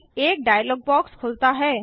एक dialog box खुलता है